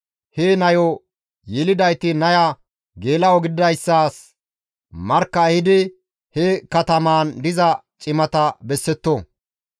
he nayo yelidayti naya geela7o gididayssas markka ehidi he katamaan diza cimata bessetto.